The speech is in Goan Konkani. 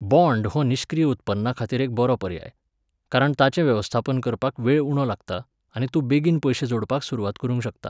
बॉण्ड हो निष्क्रिय उत्पन्नाखातीर एक बरो पर्याय. कारण ताचें वेवस्थापन करपाक वेळ उणो लागता, आनी तूं बेगीन पयशे जोडपाक सुरवात करूंक शकता.